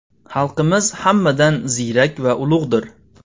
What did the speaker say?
Xalqimiz hammadan ziyrak va ulug‘dir.